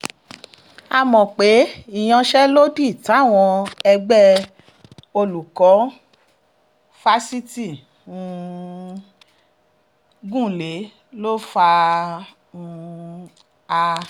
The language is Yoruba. a mọ̀ pé ìyanṣẹ́lódì táwọn ẹgbẹ́ olùkọ́ fásitì um gùn lé ló fà um á